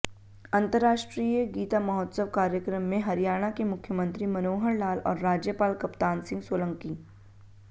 अंतरराष्ट्रीय गीता महोत्सव कार्यक्रम में हरियाणा के मुख्यमंत्री मनोहर लाल और राज्यपाल कप्तान सिंह सोलंकी